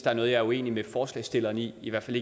er noget jeg er uenig med forslagsstilleren i i hvert fald